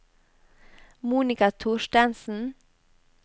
Monika Thorstensen